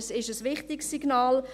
Es ist ein wichtiges Signal.